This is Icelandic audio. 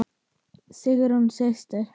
Sigrún systir.